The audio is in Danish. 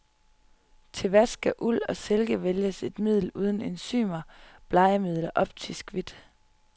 Til vask af uld og silke vælges et middel uden enzymer, blegemiddel og optisk hvidt.